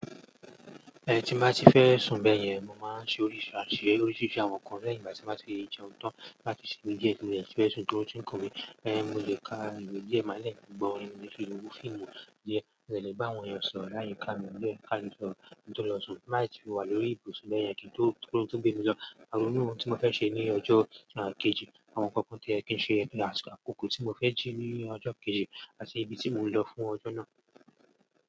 Ẹ ti mo bá ti fẹ́ sun bẹyẹn, mo máa ṣe oríṣi àwọn nǹkan lẹ́yìn ìgbà tí mo bá ti jẹun tan láti sinmi díẹ̀ tí mo dẹ́ ti fẹ sun ti oorun ti n kun mi ẹ̀, mo lè ka ìwé díẹ̀ ma dẹ gbo orin, ìn tàbí ki n wo fíìmù díẹ̀. Mo dẹ̀ lè bá àwọn èèyàn sọ̀rọ̀ láyìíká mi, mo lè ka lè sọ̀rọ̀ kí n tó lọ sùn, tí n bá dẹ̀ ti wà lórí ibùsùn bẹ́yẹn kí n tó, kóorun tó gbé mi lọ. Màá ronú ohun tí mo fẹ́ ṣe ní ọjọ́ kejì, àwọn nǹkan kan tó yẹ kí n ṣe àti àkókò tí mo fẹ́ jí ní ọjọ́ kejì àti ibi tí mo ń lọ fún ọjọ́ náà.